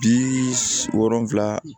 Bi wolonfila